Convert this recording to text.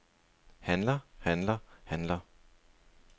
handler handler handler